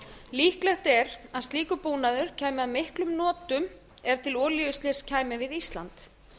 líklegt er að slíkur búnaður kæmi að miklum notum ef til olíuslyss kæmi við ísland